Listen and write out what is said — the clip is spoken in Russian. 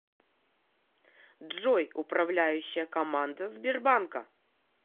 джой управляющая команда сбербанка